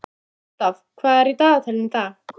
Gústaf, hvað er í dagatalinu í dag?